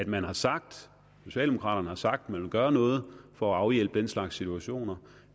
man har sagt socialdemokraterne har sagt at man vil gøre noget for at afhjælpe den slags situationer